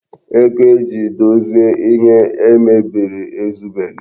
Ego eji dozie ihe e mebiri ezubeghi.